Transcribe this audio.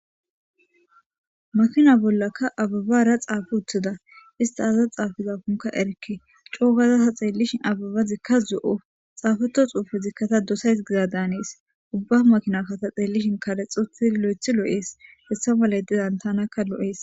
Makina bollaka ababara xaafi uttida istaaza xaafizafunka erke coogaza saxeellishin ababa zikka zo7o xaafeto xuufe zikkata dosays giza daanees ubba makina kata xeellishin kalexoti lo7ethi loo7ees hessa ma layedidan tanakka lo7ees